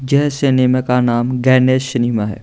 जे cinema का नाम Ganesh cinema है।